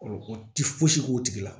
o ti fosi k'o tigi la